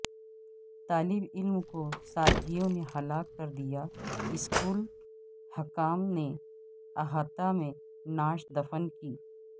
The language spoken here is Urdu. طالب علم کو ساتھیوں نے ہلاک کردیا اسکول حکام نے احاطہ میں نعش دفن کی